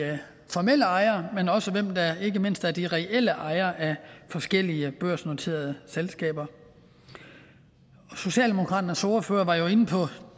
formelle ejere men også og ikke mindst er de reelle ejere af forskellige børsnoterede selskaber socialdemokratiets ordfører var jo inde på